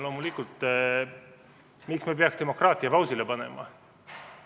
Loomulikult, miks me peaks demokraatia pausile panema?